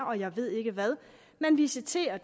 og jeg ved ikke hvad man visiterer